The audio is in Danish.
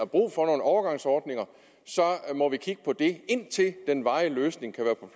brug for nogle overgangsordninger indtil den varige løsning kan